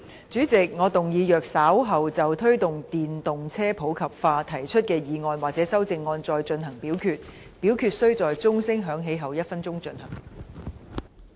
主席，我動議若稍後就"推動電動車普及化"所提出的議案或修正案再進行點名表決，表決須在鐘聲響起1分鐘後進行。